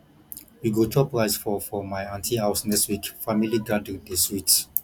we go chop rice for for my aunty house next week family gathering dey sweet